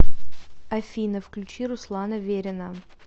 афина включи руслана верина